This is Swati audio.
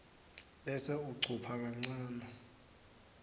bese ucupha kancane